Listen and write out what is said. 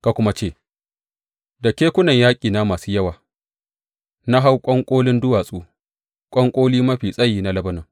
Ka kuma ce, Da kekunan yaƙina masu yawa na hau ƙwanƙolin duwatsu, ƙwanƙolin mafi tsayi na Lebanon.